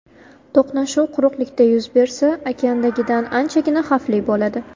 To‘qnashuv quruqlikda yuz bersa, okeandagidan anchagina xavfli bo‘ladi.